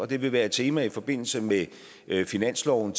det vil være et tema i forbindelse med finansloven